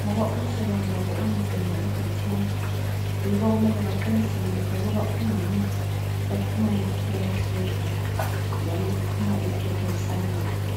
ngoba umsebenzi wabo unzima ekuthini yibo okumele baqinisekise ukuthi umama uphuma ephila esibhedlela njalo uphuma ephethe usane lwakhe.